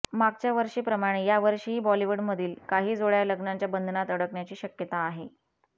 मागच्या वर्षी प्रमाणे या वर्षीही बॉलिवूडमधील काही जोड्या लग्नाच्या बंधनात अडकण्याची शक्यता आहे